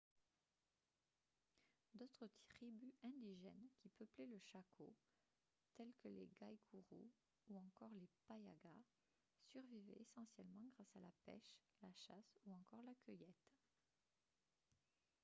d'autres tribus indigènes qui peuplaient le chaco telles que les guaycurú ou encore les payaguá survivaient essentiellement grâce à la pêche la chasse ou encore la cueillette